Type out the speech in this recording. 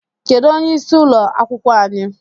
Kedụ onye ịsị ụlọ akwụkwọ anyị?